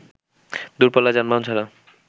দূরপাল্লার যানবাহন ছাড়া